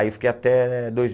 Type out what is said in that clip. Aí eu fiquei até dois